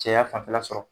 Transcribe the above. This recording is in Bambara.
Cɛya fanfɛla sɔrɔ